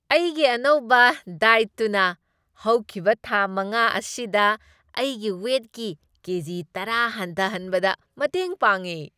ꯑꯩꯒꯤ ꯑꯅꯧꯕ ꯗꯥꯏꯠꯇꯨꯅ ꯍꯧꯈꯤꯕ ꯊꯥ ꯃꯉꯥ ꯑꯁꯤꯗ ꯑꯩꯒꯤ ꯋꯦꯠꯀꯤ ꯀꯦꯖꯤ ꯇꯔꯥ ꯍꯟꯊꯍꯟꯕꯗ ꯃꯇꯦꯡ ꯄꯥꯡꯉꯦ꯫